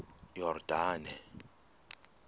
yordane